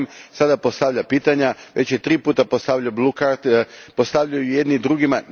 Sada postavlja pitanja. Već je tri puta postavljao postavljaju jedni drugima.